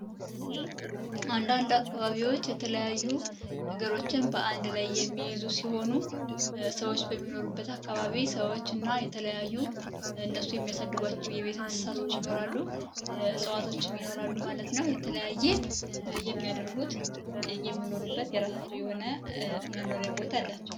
አንዳንድ አካባቢዎች የተለያዩ ነገሮችን በአንድ ላይ የሚይዙ ሲሆኑ ሰዎች በሚኖሩበት አካባቢ ሰዎች እና የተለያዩ እነሱ የሚያሳድጓቸው የቤተ እንስሳቶች ይኖራሉ እፅዋቶችም ይኖራሉ ማለት ነው የተለያየ የሚያደርጉት የሚኖሩበት የራሳቸው የሆነ መኖሪያ ቦታ አላቸው።